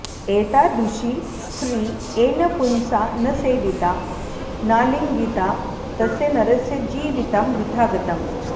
एतादृशी स्त्री येन पुंसा न सेविता नालिङ्गिता तस्य नरस्य जीवितं वृथा गतम्